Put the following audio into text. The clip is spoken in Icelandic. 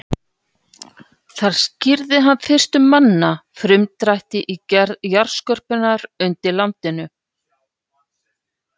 Þar skýrði hann fyrstur manna frumdrætti í gerð jarðskorpunnar undir landinu.